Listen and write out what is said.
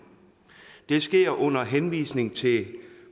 det sker under henvisning til